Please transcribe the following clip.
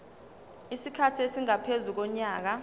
isikhathi esingaphezu konyaka